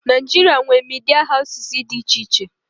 Naịjirịa nwee media houses dị iche iche.